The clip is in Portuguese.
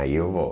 Aí eu vou.